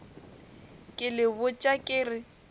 ke le botša ke re